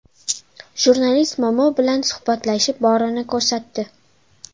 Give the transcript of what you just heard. Jurnalist momo bilan suhbatlashib, borini ko‘rsatdi.